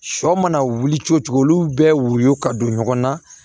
Sɔ mana wuli cogo cogo olu bɛ woyo ka don ɲɔgɔn na